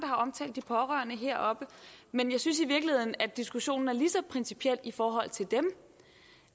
har omtalt de pårørende heroppe men jeg synes i virkeligheden at diskussionen er lige så principiel for